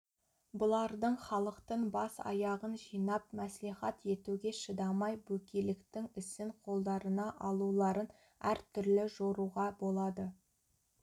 бұлардың халықтың бас-аяғын жинап мәслихат етуге шыдамай бөкейліктің ісін қолдарына алуларын әр түрлі жоруға болады